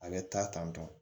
A bɛ taa tantɔ